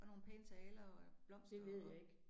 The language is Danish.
Og nogle pæne taler og blomster og